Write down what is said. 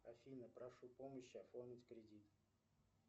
афина прошу помощи оформить кредит